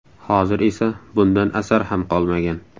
Hozir esa bundan asar ham qolmagan.